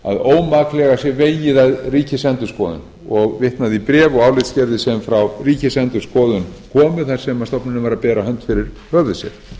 að ómaklega sé vegið að ríkisendurskoðun og vitnað í bréf og álitsgerðir sem frá ríkisendurskoðun komu þar sem stofnunin var að bera hönd fyrir höfuð sér